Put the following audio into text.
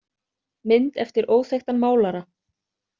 Mynd eftir óþekktan málara.